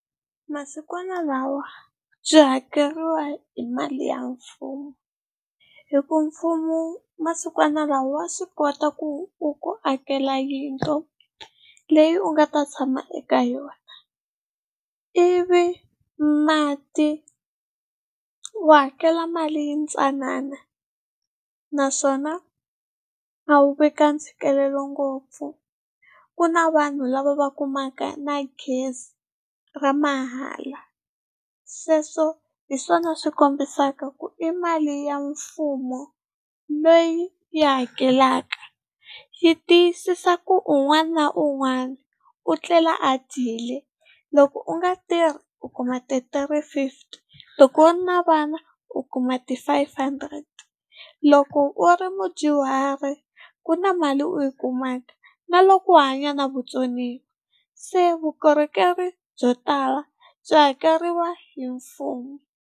Masikwana lawa byi hakeriwa hi mali ya mfumo hi ku mfumo masikwanalawa wa swi kota ku u ku akela yindlu leyi u nga ta tshama eka yona, ivi mati wa hakela mali yintsanana naswona a wu ve ka ntshikelelo ngopfu. Ku na vanhu lava va kumaka na gezi ra mahala sweswo hi swona swi kombisaka ku i mali ya mfumo leyi yi hakelaka, yi tiyisisa ku un'wana na un'wana u etlela a dyile. Loko u nga tirhi u kuma three fifty. Loko u ri na vana u kuma ti five hundred, loko u ri mudyuhari ku na mali u yi kumaka na loko u hanya na vutsoniwa se vukorhokeri byo tala byi hakeriwa hi mfumo.